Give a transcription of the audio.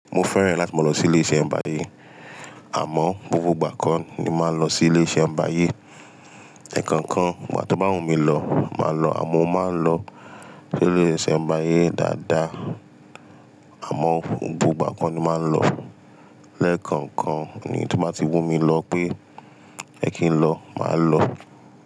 Mo fẹ́ràn láti máa lọ sí ilé iṣẹ́ ń bayé. Àmọ́, gbogbo ìgbà kọ́ ni máa lọ sí ilé iṣẹ́ ń bayé. Ẹkankan ìgbà tó bá wù mí lọ máa lọ, àmọ́ máa lọ sí ilé iṣẹ́ ń bayé dáadáa. Àmọ́ gbogbo ìgbà kọ́ ni máa ń lọ. Ẹ̀ẹ̀kọ̀kan ni tí ó bá ti wù mí lọ pé ẹ kí ń lọ, máa lọ.